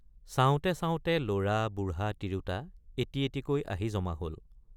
চাওঁতে চাওঁতে লৰা বুঢ়া তিৰোতা এটি এটিকৈ আহি জমা হল।